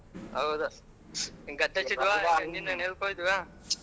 ಹೌದು .